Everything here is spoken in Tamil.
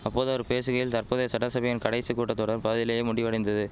அப்போது அவர் பேசுகையில் தற்போதைய சட்டசபையின் கடைசி கூட்ட தொடர் பாதியிலேயே முடிவடைந்தது